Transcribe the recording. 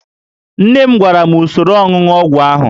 Nne m gwara m usoro ọnụnụ ọgwụ ahụ